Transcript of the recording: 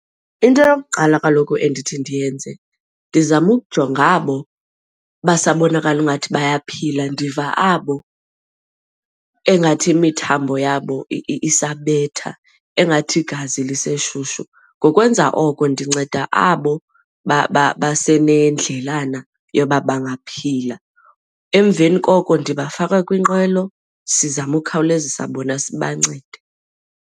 Into yokuqala kaloku endithi ndiyenze ndizama ukujonga abo basabonakala ingathi bayaphila, ndiva abo engathi imithambo yabo isabethwa engathi igazi liseshushu. Ngokwenza oko ndinceda abo basenendlelani yoba bangaphila. Emveni koko ndibafaka kwinqwelo, sizama ukhawulezisa bona sibancede.